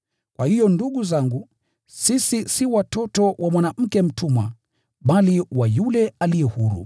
Kwa hiyo ndugu zangu, sisi si watoto wa mwanamke mtumwa, bali wa yule aliye huru.